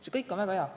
See kõik on väga hea.